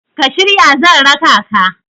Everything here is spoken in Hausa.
ka shirya zan raka ka?